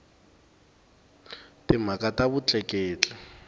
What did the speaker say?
timhaka ta vutleketli